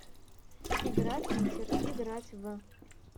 игра питер играть в